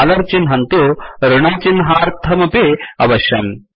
dollar चिह्नं तु् ऋणचिह्नार्थमपि अवश्यम्